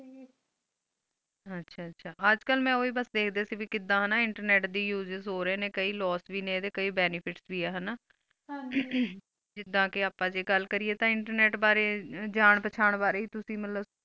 ਅੱਛਾ ਅੱਛਾ ਅਜਕਲ ਮੈਂ ਓਇ ਬਸ ਵੈਖ ਸੀ ਪੀ ਕਿਧ ਨਾ internet ਦੀ uses ਹੋ ਰੇ ਨੇ ਕਈ ਲੋਸੇ ਵੀ ਨੇ ਐਦ੍ਹੇ ਕਈ benefits ਨੀ ਇਹ ਹੈਂ ਨਾ ਹਨ ਜੀ ਅਹ ਜਿਦ੍ਹਾ ਕੇ ਜੇ ਅੱਪਾ ਗੱਲ ਕਰੀਏ ਤੇ internet ਬਾਰੇ ਜਾਂ ਪਹਿਚਹਨ ਬਾਰੇ ਤੁਸੀਂ ਮਤਿਬ ਹਨ